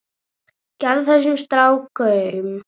Gefið þessum strák gaum.